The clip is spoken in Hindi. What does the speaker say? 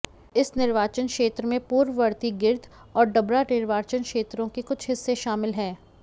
इस निर्वाचन क्षेत्र में पूर्ववर्ती गिर्द और डबरा निर्वाचन क्षेत्रों के कुछ हिस्से शामिल हैं